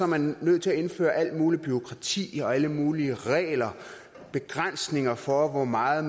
man nødt til at indføre alt muligt bureaukrati og alle mulige regler og begrænsninger for hvor meget